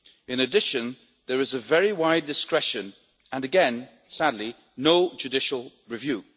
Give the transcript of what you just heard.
In addition, there is a very wide discretion, and again sadly no judicial review.